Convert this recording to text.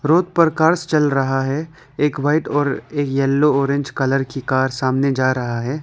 Road पर cars चल रहा है एक वाइट और येलो ऑरेंज कलर की कार सामने जा रहा है।